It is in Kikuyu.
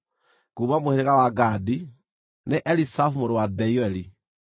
kuuma mũhĩrĩga wa Gadi, nĩ Eliasafu mũrũ wa Deueli;